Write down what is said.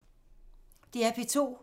DR P2